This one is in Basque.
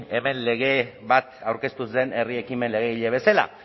hemen lege bat aurkeztu zen herri ekimen legegile bezala